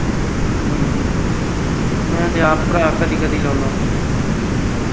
ਅਮ ਹਮ ਮੈਂ ਤੇ ਆਪ ਭਰਾ ਕਦੀ ਕਦੀ ਲਾਉਣਾ।